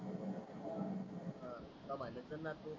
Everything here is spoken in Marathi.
काम आले असलण तु